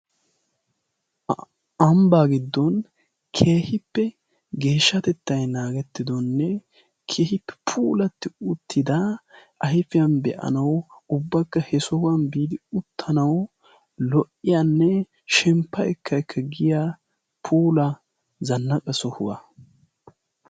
Ambbaa giddon kehippe geeshshatettay naagettidonne kehippi puulatti uttida ayfiyan be'anawu ubbakka he sohuwan biidi uttanau lo"iyaanne shemppa ekka ekka giya pula zannaqa sohuwaa.